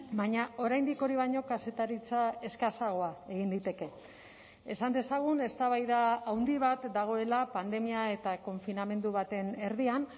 baina oraindik hori baino kazetaritza eskasagoa egin liteke esan dezagun eztabaida handi bat dagoela pandemia eta konfinamendu baten erdian